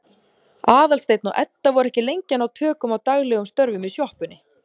Aðalsteinn og Edda voru ekki lengi að ná tökum á daglegum störfum í sjoppunni.